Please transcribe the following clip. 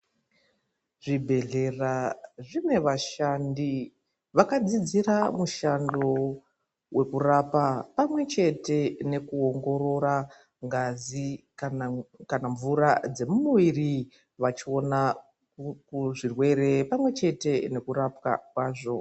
Zvibhedhlera zvine vashandi vakadzidzira mushando vekurapa pamwechete nekuongorora ngazi kana mvura dzemumuviri vachiona zvirwere pamwechete nekurapwa kwazvo .